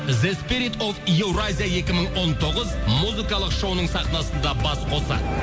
еуразия екі мың он тоғыз музыкалық сахнасында бас қосады